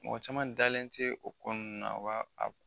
Mɔgɔ caman dalen tɛ o ko nunnu na o b'a